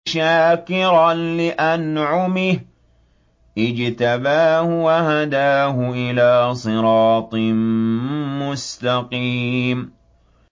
شَاكِرًا لِّأَنْعُمِهِ ۚ اجْتَبَاهُ وَهَدَاهُ إِلَىٰ صِرَاطٍ مُّسْتَقِيمٍ